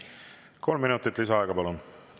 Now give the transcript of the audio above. Kolm minutit lisaaega, palun!